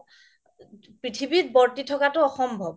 পৃথিৱীত বৰ্তি থকাটো অসম্ভৱ